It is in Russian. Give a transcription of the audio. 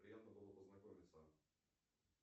приятно было познакомиться